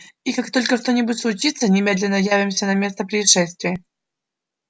и как только что-нибудь случится немедленно явимся на место происшествия